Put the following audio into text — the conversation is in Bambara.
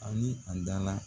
A ni an dan la